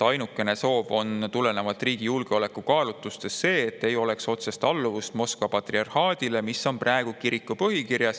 Ainukene soov on tulenevalt riigi julgeolekukaalutlustest see, et ei oleks otsest alluvust Moskva patriarhaadile, mis on praegu kiriku põhikirjas.